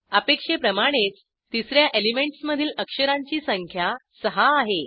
अपेक्षेप्रमाणेच तिस या एलिमेंटस मधील अक्षरांची संख्या सहा आहे